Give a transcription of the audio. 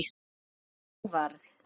Sem og varð.